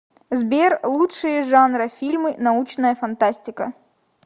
сбер лучшие жанра фильмы научная фантастика